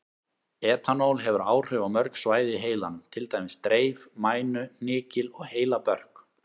Etanól hefur áhrif á mörg svæði í heilanum, til dæmis dreif, mænu, hnykil og heilabörk.